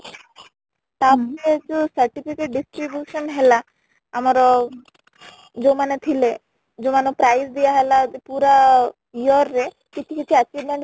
ତା ପରେ ଯୋଉ certificate distribution ହେଲା ଆମର ଯୋଉ ମାନେ ଥିଲେ ଯୋଉ ମାନ ଙ୍କୁ prize ଦିଆ ହେଲା ପୁରା year ରେ କିଛି କିଛି achievement